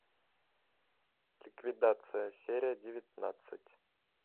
ликвидация серия девятнадцать